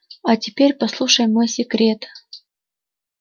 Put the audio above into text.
а теперь послушай мой секрет